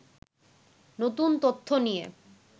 নতুন তথ্য নিয়ে